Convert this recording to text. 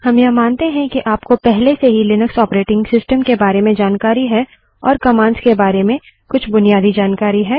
हम यह मानते हैं कि आपको पहले से ही लिनक्स ऑपरेटिंग सिस्टम के बारे में जानकारी है और कमांड्स के बारे में कुछ बुनियादी जानकारी है